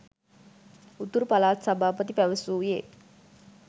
උතුරු පළාත් සභාපති පැවසුයේ